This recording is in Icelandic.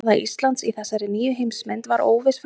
Staða Íslands í þessari nýju heimsmynd var óviss frá upphafi.